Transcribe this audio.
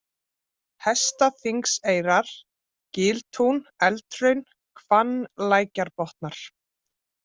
Hestaþingseyrar, Giltún, Eldhraun, Hvannlækjarbotnar